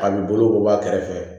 A bi bolo ko bɔ a kɛrɛfɛ